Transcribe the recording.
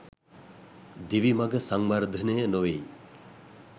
දිවි මඟ සංවර්ධනය නොවෙයි.